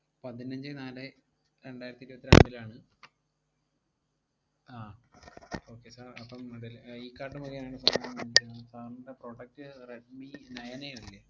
പതിനഞ്ചേ നാലേ രണ്ടായിരത്തി ഇരുവത്തിരണ്ടിലാണ് ആഹ് okay sir അപ്പം deli~ ഏർ ഇ-കാർട്ട് മുഖേനെയാണ് sir ൻറെ product റെഡ്‌മി നയൻ എ അല്ലേ?